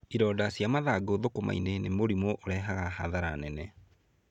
Ironda cia mathangũ thũkũma-inĩ nĩ mũrimũ ũrehaga hathara nene.